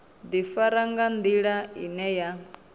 ḓifara nga nḓila ine ya